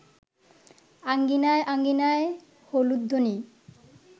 আঙ্গিনায় আঙ্গিনায় হুলুধ্বনি